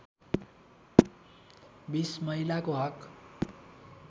२० महिलाको हक